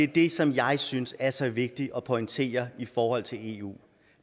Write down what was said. det som jeg synes er så vigtigt at pointere i forhold til eu